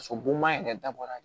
So bonma yɛrɛ dabɔra